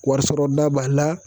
Warisɔrɔda b'a la